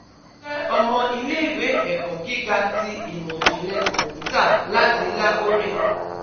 Mo jẹ ọmọ ile-iwe eko giga ti Imọ-jinlẹ Kọmputa lati Lahore